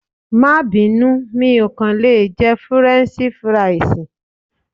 Máa bínú, mi ò kàn lè jẹ Fúrẹ́nṣí Fúrisìì.